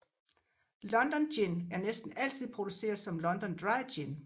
London Gin er næsten altid produceret som London Dry Gin